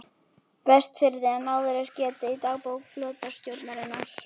Vestfirði en áður er getið í dagbók flotastjórnarinnar